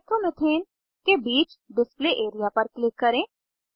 nitromethane के बीच display area पर क्लिक करें